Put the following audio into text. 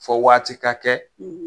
Fɔ waati ka kɛ